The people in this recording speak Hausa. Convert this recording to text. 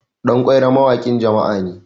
ɗankwairo mawakin jama'a ne